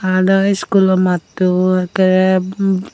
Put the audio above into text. adow iskulo matto ekkerey bmm.